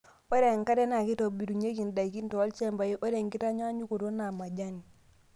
Ore enkare naa keitobirunyieki ndaikin tolchampai, ore enkitanyanyukoto naa majani.